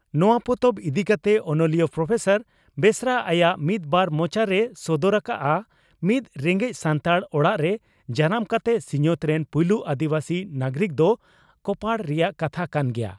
ᱱᱚᱣᱟ ᱯᱚᱛᱚᱵ ᱤᱫᱤ ᱠᱟᱛᱮ ᱚᱱᱚᱞᱤᱭᱟᱹ ᱯᱨᱚᱯᱷᱮᱥᱟᱨ ᱵᱮᱥᱨᱟ ᱟᱭᱟᱜ "ᱢᱤᱫ ᱵᱟᱨ ᱢᱚᱪᱟ" ᱨᱮᱭ ᱥᱚᱫᱚᱨ ᱟᱠᱟᱫᱼᱟᱺᱼ ᱢᱤᱫ ᱨᱮᱸᱜᱮᱡ ᱥᱟᱱᱛᱟᱲ ᱚᱲᱟᱜ ᱨᱮ ᱡᱟᱱᱟᱢ ᱠᱟᱛᱮ ᱥᱤᱧᱚᱛ ᱨᱮᱱ ᱯᱩᱭᱞᱩ ᱟᱹᱫᱤᱵᱟᱹᱥᱤ ᱱᱟᱜᱚᱨᱤᱠ ᱫᱚ ᱠᱚᱯᱟᱲ ᱨᱮᱭᱟᱜ ᱠᱟᱛᱷᱟ ᱠᱟᱱ ᱜᱮᱭᱟ ᱾